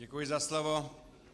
Děkuji za slovo.